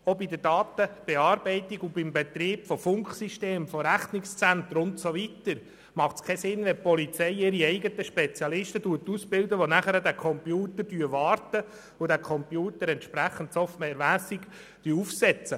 Auch bei der Datenbearbeitung und beim Betrieb von Funksystemen, Rechnungszentren und so weiter macht es keinen Sinn, wenn die Polizei ihre eigenen Spezialisten ausbildet, die anschliessend den Computer warten und entsprechend softwaremässig aufsetzen.